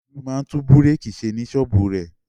Olú máa ń tún búrékì ṣe ní ṣọ́ọ́bù rẹ̀.